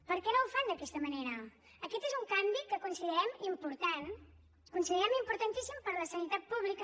per què no ho fan d’aquesta manera aquest és un canvi que considerem important el considerem importantíssim per a la sanitat pública